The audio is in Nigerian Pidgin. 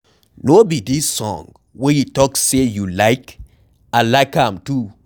No be dis song wey you talk say you like, I like am too.